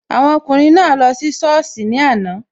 Awọn ọkùnrin naa lọ sí sọ́ọ̀sì ní àná